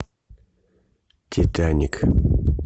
титаник